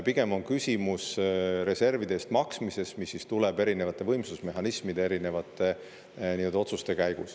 Pigem on küsimus reservide eest maksmises, mis tuleb teha erinevate võimsusmehhanismide erinevate otsuste tõttu.